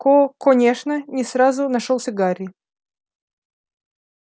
ко конечно не сразу нашёлся гарри